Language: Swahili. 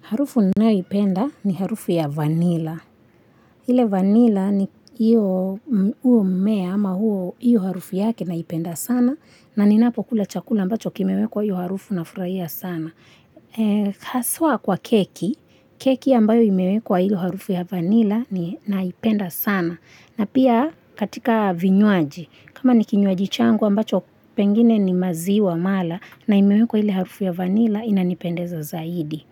Harufu ninayoipenda ni harufu ya vanila. Ile vanila, huo mmea ama hiyo harufu yake naipenda sana na ninapokula chakula ambacho kimewekwa hiyo harufu nafurahia sana. Haswa kwa keki, keki ambayo imewekwa hiyo harufu ya vanila ninaipenda sana na pia katika vinywaji. Kama ni kinywaji changu ambacho pengine ni maziwa mala na imewekwa ile harufu ya vanila inanipendeza zaidi.